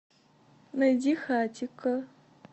найди хатико